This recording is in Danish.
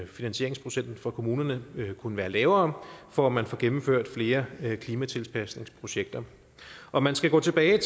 finansieringsprocenten for kommunerne kunne være lavere for at man får gennemført flere klimatilpasningsprojekter om man skal gå tilbage